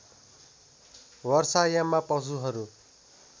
वर्षा याममा पशुहरू